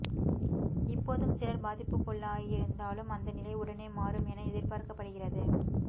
இப்போதும் சிலர் பாதிப்புக்குள்ளாகியிருந்தாலும் அந்த நிலை உடனே மாறும் என எதிர்பார்க்கப்படுகிறது